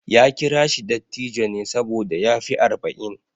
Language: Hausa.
Ya kira shi dattijo ne saboda ya fi arba'in.